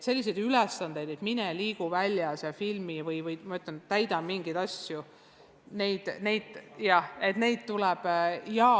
Selliseid ülesandeid, et mine liigu väljas ja filmi midagi või täida seal mingeid ülesandeid, neid ikka tuleb.